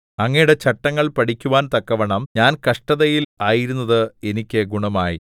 അങ്ങയുടെ ചട്ടങ്ങൾ പഠിക്കുവാൻ തക്കവണ്ണം ഞാൻ കഷ്ടതയിൽ ആയിരുന്നത് എനിക്ക് ഗുണമായി